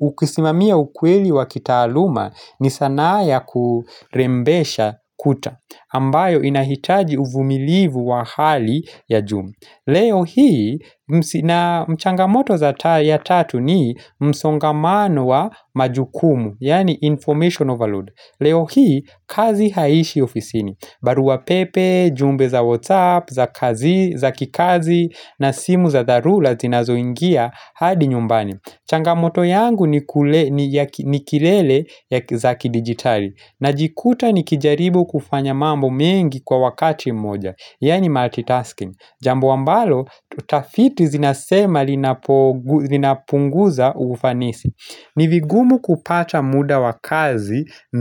ukisimamia ukweli wa kitaaluma ni sanaa ya kurembesha kuta ambayo inahitaji uvumilivu wa hali ya juu Leo hii, mchangamoto za ya tatu ni msongamano wa majukumu, yaani information overload Leo hii, kazi haishi ofisini barua pepe, jumbe za whatsapp, za kazi, za kikazi, na simu za dharura zinazoingia hadi nyumbani changamoto yangu ni kilele ya za kidigitali najikuta nikijaribu kufanya mambo mengi kwa wakati mmoja, yaani multitasking Jambo ambalo tutafiti zinasema linapunguza ufanisi ni vigumu kupata muda wa kazi.